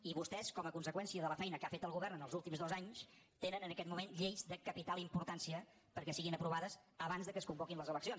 i vostès com a conseqüència de la feina que ha fet el govern en els últims dos anys tenen en aquest moment lleis de capital importància perquè siguin aprovades abans que es convoquin les eleccions